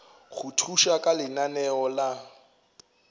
go thuša ka lenaneo la